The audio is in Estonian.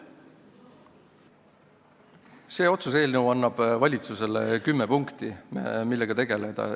See otsuse eelnõu annab valitsusele kümme punkti, millega tegeleda.